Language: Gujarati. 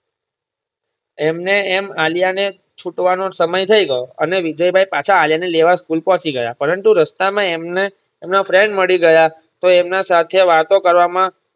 એમને એમ આલિયાને છૂટ વાનો સમય થઇ ગયો અને વિજયભાઈ પાછા આલિયાને લેવા School પોચી ગયા પરંતુ રસ્તામાં એમને એમના friend મળીગયા તો એમના સાથે વાતો કરવામાં